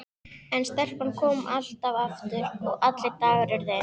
En stelpan kom alltaf aftur- og allir dagar urðu eins.